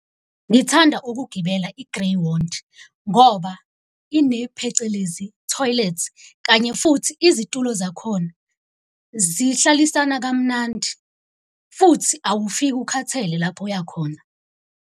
Ngithanda ukugibela i-Greyhound ngoba ine phecelezi toilet, kanye futhi izitulo zakhona zihlalisana kamnandi. Futhi awufiki ukhathele lapho oyakhona.